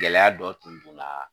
Gɛlɛya dɔ tun don na